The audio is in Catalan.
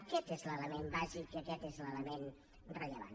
aquest és l’element bàsic i aquest és l’element rellevant